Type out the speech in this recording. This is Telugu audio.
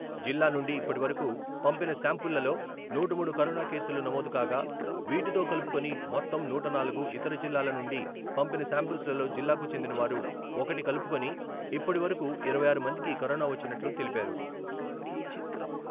జిల్లా నుండి ఇప్పటివరకు పంపిన శాంపుల్ లలో నూట మూడు కరోనా కేసులు నమోదు కాగా వీటితో కలుపుకుని మొత్తం నూట నాలుగు, ఇతర జిల్లాల నుండి పంపిన శాంపిల్స్ లలో జిల్లాకు చెందినవారు ఒకటి కలుపుకొని ఇప్పటివరకు ఇరవై ఆరు మందికి కరోనా వచ్చినట్లు తెలిపారు.